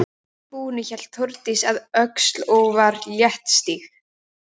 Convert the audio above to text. Að því búnu hélt Þórdís að Öxl og var léttstíg.